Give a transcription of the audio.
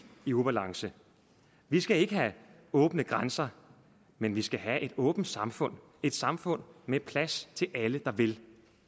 i ubalance vi skal ikke have åbne grænser men vi skal have et åbent samfund et samfund med plads til alle der vil